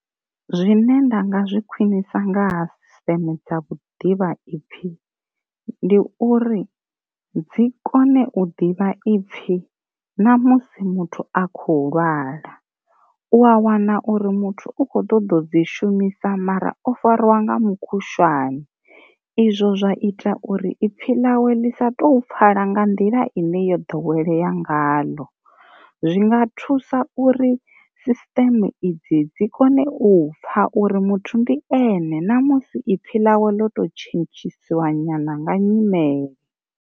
Zwine nda nga zwi khwinisa nga ha sisteme dza vhuḓivha ipfhi ndi uri, dzi kone u ḓivha ipfhi na musi muthu a khou lwala u a wana uri muthu u kho ḓo ḓo dzi shumisa mara o fariwa nga mukhushwane izwo zwa ita uri ipfi ḽawe ḽi sa tou pfala nga nḓila ine yo ḓowelea nga ḽo, zwinga thusa uri sisteme idzi dzi kone u pfha uri muthu ndi ene ṋamusi i pfhi ḽawe ḽo to tshentshisiwa nyana nga nyimele.